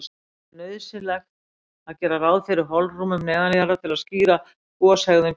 Hann taldi nauðsynlegt að gera ráð fyrir holrúmum neðanjarðar til að skýra goshegðun Geysis.